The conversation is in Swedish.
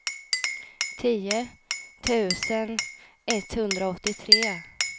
tio tusen etthundraåttiotre